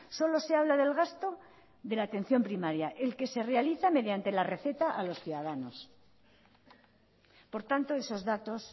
solo se habla del gasto de la atención primaria el que se realiza mediante la receta a los ciudadanos por tanto esos datos